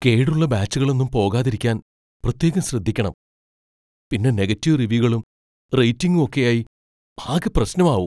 കേടുള്ള ബാച്ചുകളൊന്നും പോകാതിരിക്കാൻ പ്രത്യേകം ശ്രദ്ധിക്കണം, പിന്നെ നെഗറ്റീവ് റിവ്യൂകളും റേറ്റിംഗും ഒക്കെയായി ആകെ പ്രശ്നമാവും.